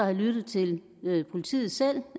har lyttet til politiet selv